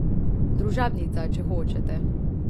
Družabnica, če hočete.